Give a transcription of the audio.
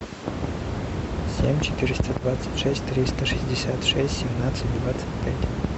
семь четыреста двадцать шесть триста шестьдесят шесть семнадцать двадцать пять